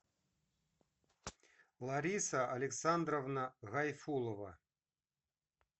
лариса александровна гайфулова